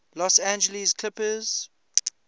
los angeles clippers